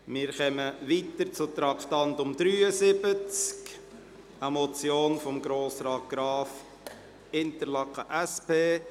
Wir kommen zum Traktandum 73, einer Motion von Grossrat Graf, Interlaken, SP: